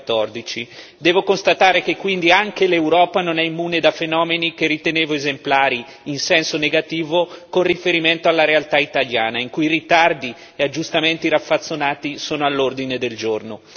2014. Devo constatare che quindi anche l'Europa non è immune da fenomeni che ritenevo esemplari, in senso negativo, con riferimento alla realtà italiana, in cui i ritardi e aggiustamenti raffazzonati sono all'ordine del giorno.